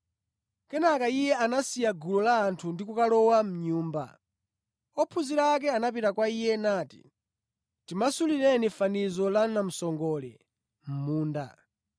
Kenaka Iye anasiya gulu la anthu ndi kukalowa mʼnyumba. Ophunzira ake anapita kwa Iye nati, “Timasulireni fanizo la namsongole mʼmunda.”